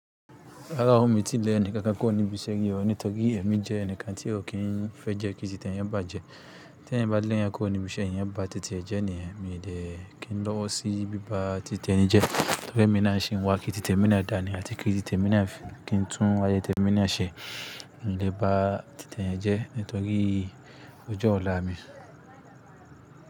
Rárá o, mi ò tíì lẹ́ni kankan kó níbi iṣẹ́ yí o, nítorí èmi jẹ́ ẹnìkan tí ò kí n fẹ́ jẹ́ kí títẹ̀ yẹn bà jẹ. Tí ẹ̀yan bá dín lẹ́yẹn kó níbi iṣẹ́ yẹn bá tètè jẹ́ ni, èmi lè kí n lọ́wọ́ sí bí bá tètè ẹni jẹ. Torí pé mí náà ń ṣe ń wá kí títẹ̀ mi náà dànì àti kí títẹ̀ mi náà fi kí n tún ayẹ títẹ̀ mi náà ṣẹ. N lè bá títẹ̀ yẹn jẹ́ nítorí òjò ọ̀la mi.